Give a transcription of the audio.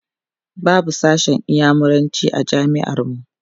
babu sashen inyamuranci a jami'ar mu